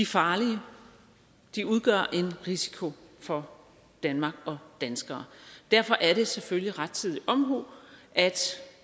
farlige de udgør en risiko for danmark og danskere derfor er det selvfølgelig rettidig omhu at